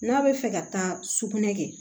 N'a bɛ fɛ ka taa sukunɛ kɛ